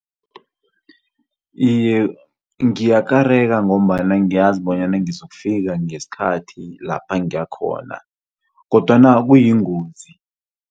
Iye, ngiyakareka ngombana ngiyazi bonyana ngizokufika ngesikhathi lapha ngiyakhona kodwana kuyingozi.